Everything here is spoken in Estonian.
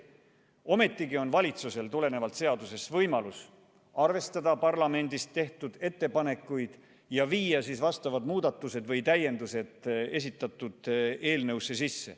Ometigi on valitsusel tulenevalt seadusest võimalus arvestada parlamendis tehtud ettepanekuid ja viia siis vastavad muudatused või täiendused esitatud eelnõusse sisse.